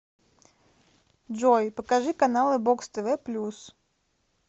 джой покажи каналы бокс тв плюс